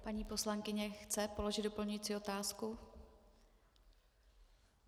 Paní poslankyně chce položit doplňující otázku?